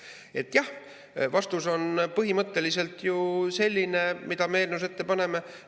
Nii et jah, vastus on põhimõtteliselt selline, mis me eelnõus ette paneme.